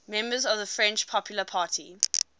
members of the french popular party